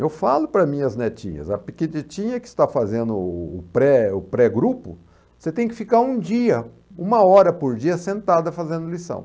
Eu falo para minhas netinhas, a pequenininha que está fazendo o o pré o pré-grupo, você tem que ficar um dia, uma hora por dia sentada fazendo lição.